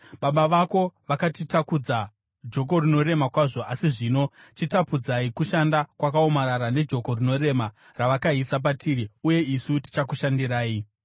“Baba vako vakatitakudza joko rinorema kwazvo, asi zvino chitapudzai kushanda kwakaomarara nejoko rinorema ravakaisa patiri, uye isu tichakushandirai.”